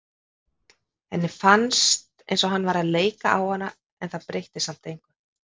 Henni fannst eins og hann væri að leika á hana en það breytti samt engu.